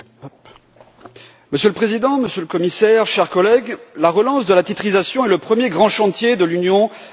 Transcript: Monsieur le Président, Monsieur le Commissaire, chers collègues, la relance de la titrisation est le premier grand chantier de l'union des marchés de capitaux.